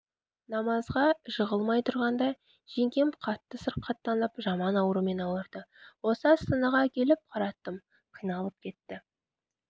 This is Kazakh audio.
намазға жығылмай тұрғанда жеңгем қатты сырқаттанып жаман аурумен ауырды осы астанаға әкеліп қараттым қиналып кетті